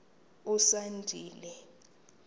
usandile